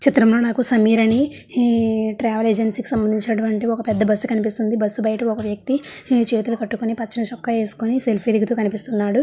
చిత్రం లో నాకు సమీర్ అని ట్రావెల్ ఏజెన్సీ సంబంధించినటువంటి ఒక పెద్ద బస్సు కనిపిస్తుంది. బస్సు బైట ఒక వ్యక్తి చేతులు కట్టుకొని పచ్చ చొక్కా వేసుకొని సెల్ఫీ దిగుతూ కనిపిస్తున్నాడు.